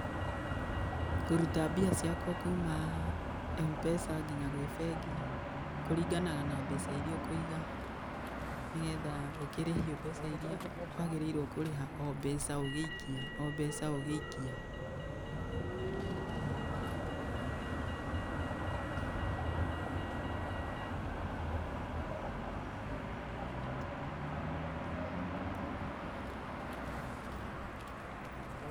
Kũruta mbia ciakwa kuma M-pesa nginya gwĩ mbengi kũringanaga na mbeca ĩrĩa ũkũiga, nĩgetha ukĩrĩhio mbeca ĩrĩa wagĩrĩirwo kurĩha, o mbeca ũgĩikia, o mbeca ũgĩikia.